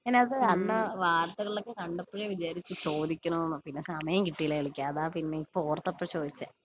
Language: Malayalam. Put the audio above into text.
ഞാനത് അന്ന് വാർത്തകളിലൊക്കെ കണ്ടപ്പഴേ വിചാരിച്ചു ചോദിക്കണമെന്ന് പിന്നെ സമയം കിട്ടിയില്ല വിളിക്കാന്‍ അതാ പിന്നെ ഇപ്പൊ ഓർത്തപ്പോ ചോദിച്ചേ.